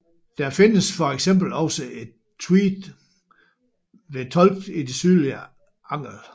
Der findes for eksempel også et Tved ved Tolk i det sydlige Angel